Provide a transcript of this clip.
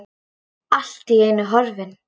Allt í einu horfin.